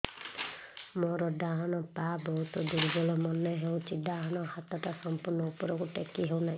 ମୋର ଡାହାଣ ପାଖ ବହୁତ ଦୁର୍ବଳ ମନେ ହେଉଛି ଡାହାଣ ହାତଟା ସମ୍ପୂର୍ଣ ଉପରକୁ ଟେକି ହେଉନାହିଁ